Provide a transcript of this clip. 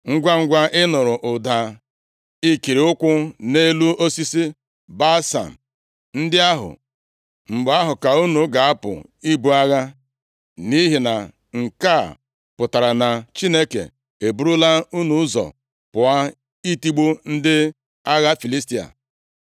Ngwangwa ị nụrụ ụda ikiri ụkwụ nʼelu osisi balsam ndị ahụ, mgbe ahụ ka unu ga-apụ ibu agha, nʼihi na nke a pụtara na Chineke eburula unu ụzọ pụọ, itigbu ndị agha Filistia.”